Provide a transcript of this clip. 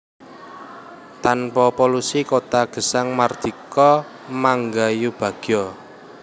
Tanpa polusi kota gesang mardika mangayubagya